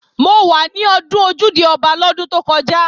Mo wà ní ọdún Ojúde-Ọba lọ́dún tó kọjá